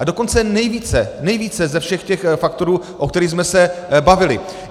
A dokonce nejvíce, nejvíce ze všech těch faktorů, o kterých jsme se bavili.